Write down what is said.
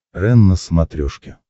рен на смотрешке